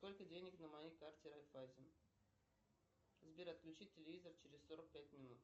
сколько денег на моей карте райффайзен сбер отключить телевизор через сорок пять минут